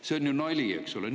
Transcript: See on ju nali, eks ole!